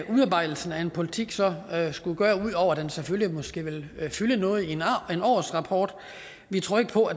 udarbejdelsen af en politik så skulle gøre ud over at den selvfølgelig måske ville fylde noget i en årsrapport vi tror ikke på